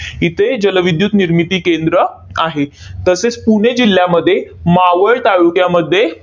इथे जलविद्युत निर्मिती केंद्र आहे. तसेच पुणे जिल्ह्यामध्ये मावळ ताळुक्यामध्ये